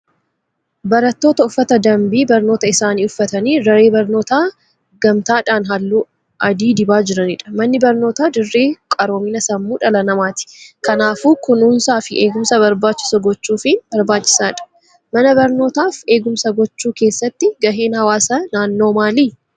Barattoota uffata danbii barnootaa isaanii uffatanii daree barnootaa gamtaadhaan halluu adii dibaa jiranidha. Manni barnootaa dirree qaroomina sammuu dhala namaati. Kanaafuu kunuunsaa fi eegumsa barbaachisu gochuufiin barbaachisaadha. Mana barnootaaf eegumsa gochuu keessatti gaheen hawaasa naannoo maali?